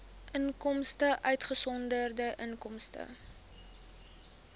inkomste uitgesonderd inkomste